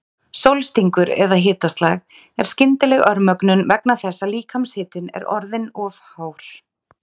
Sólstingur eða hitaslag er skyndileg örmögnun vegna þess að líkamshitinn er orðinn of hár.